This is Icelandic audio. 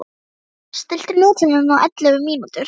Þórar, stilltu niðurteljara á ellefu mínútur.